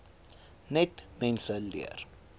net mense leer